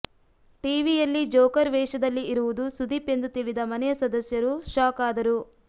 ಟಿವಿಯಲ್ಲಿ ಜೋಕರ್ ವೇಷದಲ್ಲಿ ಇರುವುದು ಸುದೀಪ್ ಎಂದು ತಿಳಿದ ಮನೆಯ ಸದಸ್ಯರು ಶಾಕ್ ಆದರು